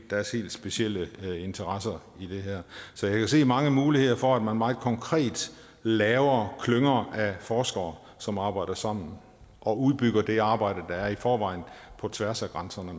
deres helt specielle interesser i det her så jeg kan se mange muligheder for at man meget konkret laver klynger af forskere som arbejder sammen og udbygger det arbejde med er i forvejen på tværs af grænserne